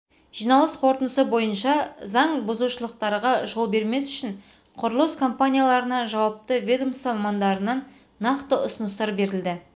жиналыс қортындысы бойынша заң бұзушылықтарға жол бермес үшін құрылыс компанияларына жауапты ведомство мамандарынан нақты ұсыныстар берілді